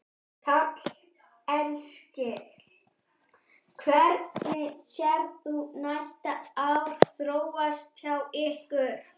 Karl Eskil: Hvernig sérð þú næstu ár þróast hjá ykkur?